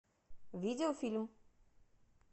видеофильм